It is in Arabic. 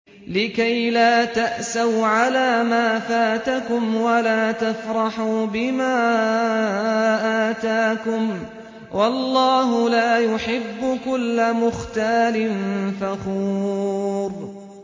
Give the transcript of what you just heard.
لِّكَيْلَا تَأْسَوْا عَلَىٰ مَا فَاتَكُمْ وَلَا تَفْرَحُوا بِمَا آتَاكُمْ ۗ وَاللَّهُ لَا يُحِبُّ كُلَّ مُخْتَالٍ فَخُورٍ